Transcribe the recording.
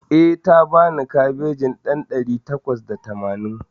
Eh, ta bani kabejin ɗan ɗari takwas da tamanin